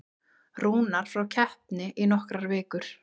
Rúnar frá keppni í nokkrar vikur